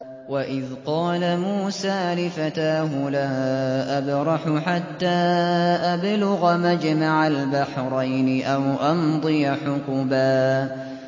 وَإِذْ قَالَ مُوسَىٰ لِفَتَاهُ لَا أَبْرَحُ حَتَّىٰ أَبْلُغَ مَجْمَعَ الْبَحْرَيْنِ أَوْ أَمْضِيَ حُقُبًا